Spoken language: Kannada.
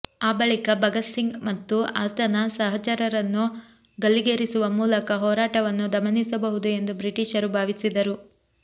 ಆ ಬಳಿಕ ಭಗತ್ ಸಿಂಗ್ ಮತ್ತು ಆತನ ಸಹಚರರನ್ನು ಗಲ್ಲಿಗೇರಿಸುವ ಮೂಲಕ ಹೋರಾಟವನ್ನು ದಮನಿಸಬಹುದು ಎಂದು ಬ್ರಿಟಿಷರು ಭಾವಿಸಿದರು